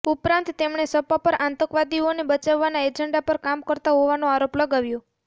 ઉપરાંત તેમણે સપા પર આતંકવાદીઓને બચાવવાના એજન્ડા પર કામ કરતા હોવાનો આરોપ લગાવ્યો